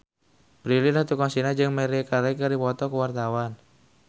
Prilly Latuconsina jeung Maria Carey keur dipoto ku wartawan